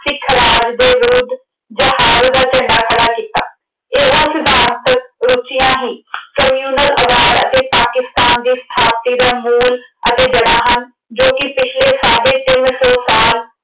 ਸਿੱਖ ਰਾਜ ਦੇ ਵਿਰੁੱਧ ਜਹਾਦ ਦਾ ਝੰਡਾ ਖੜ੍ਹਾ ਕੀਤਾ। ਇਹੋ ਸਿਧਾਂਤ ਰੁਚੀਆਂ ਹੀ communal ਆਧਾਰ ਅਤੇ ਪਾਕਿਸਤਾਨ ਦੀ ਸਥਾਪਤੀ ਦਾ ਮੂਲ ਅਤੇ ਜੜ੍ਹਾਂ ਹਨ ਜੋ ਕਿ ਪਿਛਲੇ ਸਾਢੇ ਤਿੰਨ ਸੌ ਸਾਲ